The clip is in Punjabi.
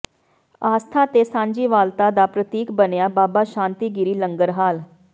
ਆਸਥਾ ਤੇ ਸਾਂਝੀਵਾਲਤਾ ਦਾ ਪ੍ਰਤੀਕ ਬਣਿਆ ਬਾਬਾ ਸ਼ਾਂਤੀ ਗਿਰੀ ਲੰਗਰ ਹਾਲ